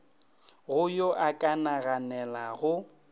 go yo a ka naganelago